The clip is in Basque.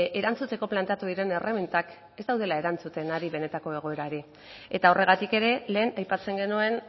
erantzuteko planteatu diren erremintak ez daudela erantzuten ari benetako egoerari eta horregatik ere lehen aipatzen genuen